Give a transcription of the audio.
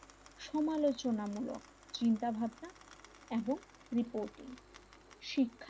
সমালোচনামূলক চিন্তাভাবনা এবং রিপোর্টিং শিক্ষাই,